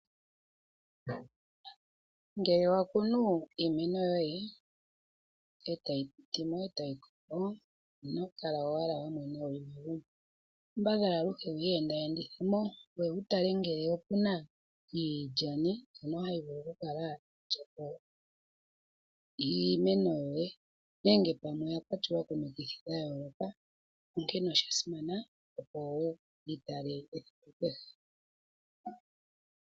Ngele wa kunu iimeno yoye, e tayi mene, e tayi koko ino kala owala wa mwena wu li megumbo. Kambadhala aluhe wu iyendithe mo, ngoye wu tale ngele oku na iipuka, mbyoka hayi vulu okukala tayi li po iimeno yoye, nenge wu tale ngele oya kwatwa komikithi dha yooloka. Osha simana okukala to yi tala esiku kehe.